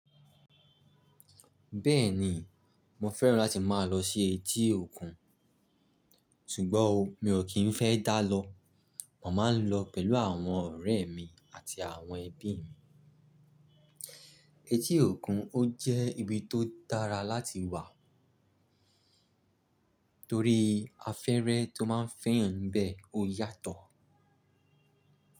Bẹ́ẹ̀ni, mo fẹ́ràn láti máa lọ sí etí òkun, ṣùgbọ́n o, mi ò kí n fẹ́ dá lọ. Mo máa ń lọ pẹ̀lú àwọn ọ̀rẹ́ mi àti àwọn ẹbí mi. Etí òkun ó jẹ́ ibi tó dára láti wà torí afẹ́rẹ́ tó máa ń fẹ́ eeyàn nibẹ́ ó yàtọ̀